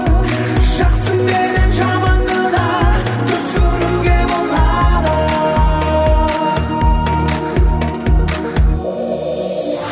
жақсы менен жаманды да түсінуге болады